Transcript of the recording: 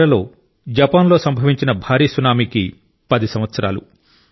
ఈ నెలలో జపాన్లో సంభవించిన భారీ సునామీకి 10 సంవత్సరాలు